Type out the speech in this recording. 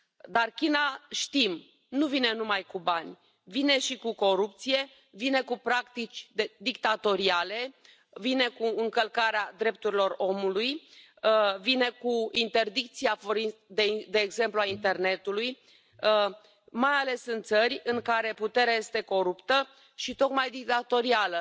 Dar China, știm, nu vine numai cu bani, vine și cu corupție, vine cu practici dictatoriale, vine cu încălcarea drepturilor omului, vine cu interdicția, de exemplu, a internetului, mai ales în țări în care puterea este coruptă și, tocmai, dictatorială.